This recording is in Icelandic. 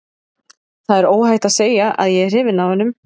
Það er óhætt að segja að ég er hrifinn af honum.